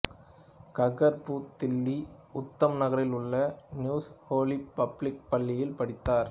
கக்கர் புது தில்லி உத்தம் நகரிலுள்ள new holy public பள்ளியில் படித்தார்